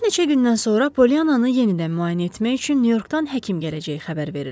Bir neçə gündən sonra Polyannanı yenidən müayinə etmək üçün Nyu-Yorkdan həkim gələcəyi xəbər verildi.